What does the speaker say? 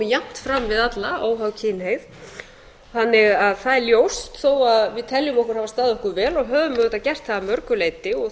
jafnt fram við alla óháð kynhneigð þannig að það er ljóst þó við teljum okkur hafa staðið okkar vel og höfum auðvitað gert það að mörgu leyti og